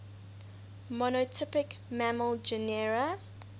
monotypic mammal genera